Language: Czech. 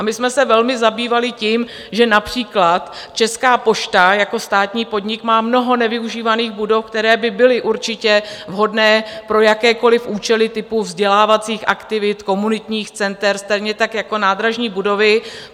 A my jsme se velmi zabývali tím, že například Česká pošta jako státní podnik má mnoho nevyužívaných budov, které by byly určitě vhodné pro jakékoliv účely typu vzdělávacích aktivit, komunitních center, stejně tak jako nádražní budovy.